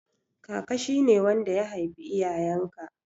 Kaka shi ne wanda ya haifi iyayen ka